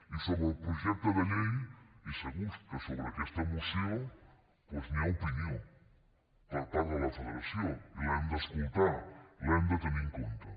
i sobre el projecte de llei i segur que sobre aquesta moció doncs hi ha opinió per part de la federació i l’hem d’escoltar i l’hem de tenir en compte